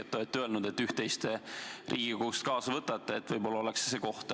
Te olete öelnud, et võtate Riigikogust üht-teist kaasa – võib-olla oleks see midagi, mis kaasa võtta.